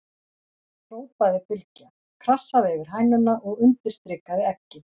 hrópaði Bylgja, krassaði yfir hænuna og undirstrikaði eggið.